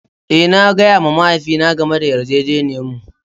Eh, na gaya wa mahaifina game da yarjejeniyarmu.